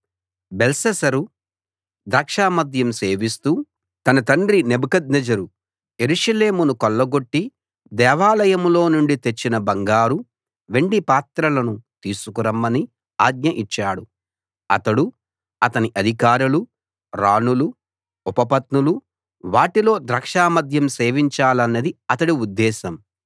బెల్షస్సరు ద్రాక్షమద్యం సేవిస్తూ తన తండ్రి నెబుకద్నెజరు యెరూషలేమును కొల్లగొట్టి దేవాలయంలో నుండి తెచ్చిన బంగారు వెండి పాత్రలను తీసుకురమ్మని ఆజ్ఞ ఇచ్చాడు అతడు అతని అధికారులు రాణులు ఉపపత్నులు వాటిలో ద్రాక్ష మద్యం సేవించాలన్నది అతడి ఉద్దేశం